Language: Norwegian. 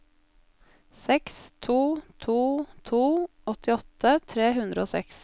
seks to to to åttiåtte tre hundre og seks